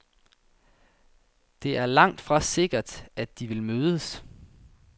Det er langtfra sikkert, at de vil mødes.